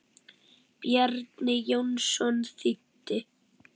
Bjarni Jónsson þýddi.